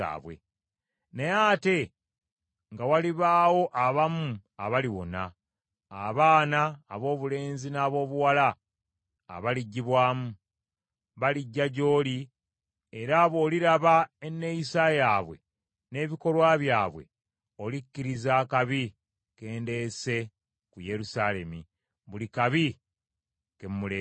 Naye ate nga walibaawo abamu abaliwona, abaana aboobulenzi n’aboobuwala abaliggibwamu. Balijja gy’oli, era bw’oliraba enneeyisa yaabwe n’ebikolwa byabwe, olikkiriza akabi ke ndeese ku Yerusaalemi, buli kabi ke mmuleeseeko.